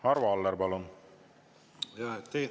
Arvo Aller, palun!